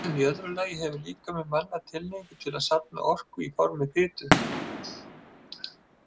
En í öðru lagi hefur líkami manna tilhneigingu til að safna orku í formi fitu.